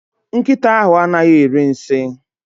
Nkịta ahụ anaghị eri nsi